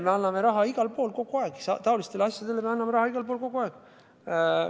Ja taolistele asjadele me anname raha kogu aeg igal pool.